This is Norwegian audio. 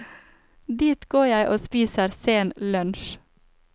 Dit går jeg og spiser sen lunsj.